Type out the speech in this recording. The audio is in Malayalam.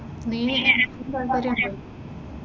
നീയേ നിനക്ക് താത്പര്യമുണ്ടോ?